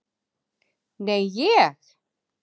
Nei, ég.